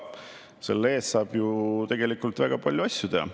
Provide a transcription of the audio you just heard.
Selle eest saab ju väga palju asju teha.